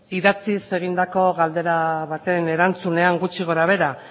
idatziz egindako galdera baten erantzunean gutxi gora behera